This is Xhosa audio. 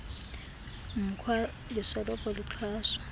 mkhwa lisoloko lixhaswa